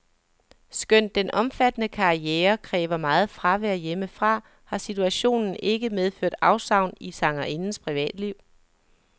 Skønt den omfattende karriere kræver meget fravær hjemmefra, har situationen ikke medført afsavn i sangerindens privatliv.